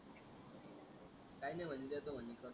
काही नाही म्हणे देतो म्हणे